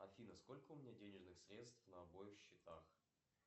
афина сколько у меня денежных средств на обоих счетах